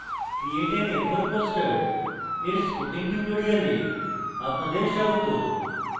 create an a4 poster a4 spoken tutorial আপনাদের স্বাগত